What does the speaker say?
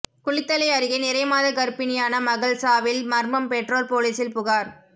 குளித்தலை அருகே நிறைமாத கர்ப்பிணியான மகள் சாவில் மர்மம் பெற்றோர் போலீசில் புகார்